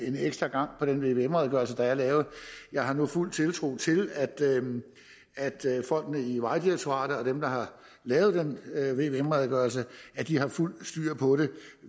en ekstra gang på den vvm redegørelse der er lavet jeg har nu fuld tiltro til at folkene i vejdirektoratet og dem der har lavet den vvm redegørelse har fuldt styr på det